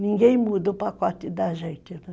Ninguém muda o pacote da gente.